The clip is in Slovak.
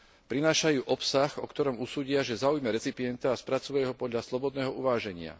Prinášajú obsah, o ktorom usúdia, že zaujme recipienta, a spracúvajú ho podľa slobodného uváženia.